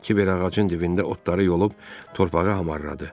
Kiber ağacın dibində otları yolub torpağı hamarladı.